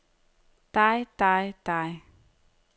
dig dig dig